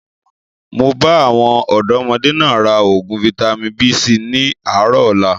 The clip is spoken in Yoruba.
Máa bá àwọn ọ̀dọ́modé náà raa oògùn Vitamin B síí ni àárọ̀ ọ̀la